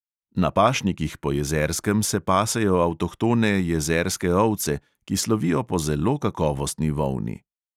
Na pašnikih po jezerskem se pasejo avtohtone jezerske ovce, ki slovijo po zelo kakovostni volni.